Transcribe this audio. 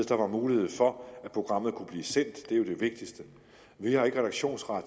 der var mulighed for at programmet kunne blive sendt det er jo det vigtigste vi har ikke redaktionsret